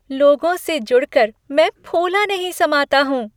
लोगों से जुड़कर मैं फूला नहीं समाता हूँ।